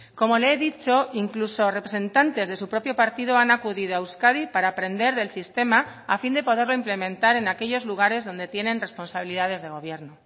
como le he dicho incluso representantes de su propio partido han acudido a euskadi para aprender del sistema a fin de poderlo implementar en aquellos lugares donde tienen responsabilidades de gobierno